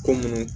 Ko munnu